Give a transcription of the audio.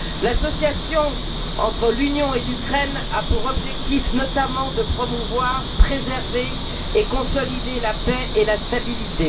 L'association entre l'Union et l'Ukraine a pour objectif, notamment, de promouvoir, préserver et consolider la paix et la stabilité.